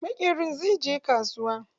Maƙerin zai je kasuwa.